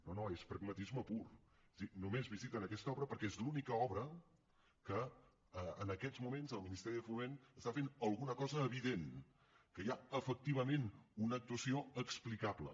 no no és pragmatisme pur és a dir només visiten aquesta obra perquè és l’única obra que en aquests moments el ministeri de foment hi està fent alguna cosa evident que hi ha efectivament una actuació explicable